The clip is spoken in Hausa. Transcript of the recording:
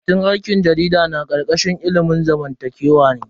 Karatun aikin jarida na karkashin tsangayar ilimin zamantakewa ne.